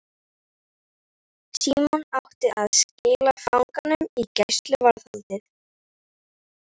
Símon átti að skila fanganum í gæsluvarðhaldið.